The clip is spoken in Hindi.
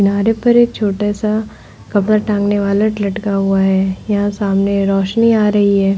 किनारे पर एक छोटा सा कपड़ा टांगने वाला लटका हुआ है। यहां सामने रोशनी आ रही है।